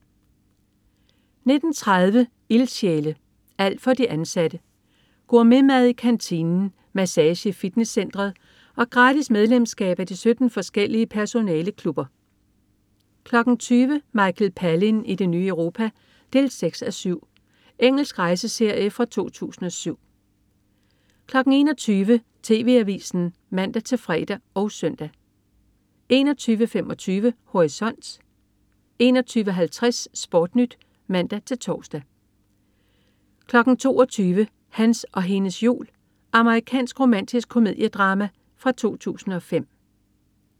19.30 Ildsjæle. Alt for de ansatte. Gourmetmad i kantinen, massage i fitnesscenteret og gratis medlemskab af de 17 forskellige personaleklubber 20.00 Michael Palin i det nye Europa 6:7. Engelsk rejseserie fra 2007 21.00 TV Avisen (man-fre og søn) 21.25 Horisont 21.50 SportNyt (man-tors) 22.00 Hans og hendes jul. Amerikansk romantisk komediedrama fra 2005